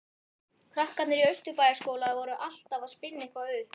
Krakkarnir í Austurbæjarskóla voru alltaf að spinna eitthvað upp.